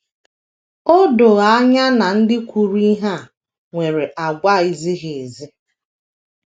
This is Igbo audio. O do anya na ndị kwuru ihe a nwere àgwà - ezighị ezi.